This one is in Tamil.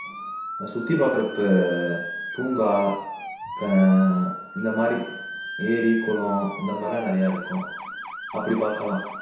சுத்தி பார்க்கற ப் பூங்கா ஆஹ் இந்த மாதிரி ஏரி குளம் இந்த மாதிரிலாம் நிறைய இருக்கும் அப்படி பார்க்கலாம்